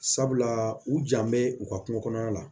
Sabula u jan bɛ u ka kun kɔrɔ la